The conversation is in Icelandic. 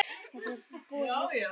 Þetta var búið á milli okkar.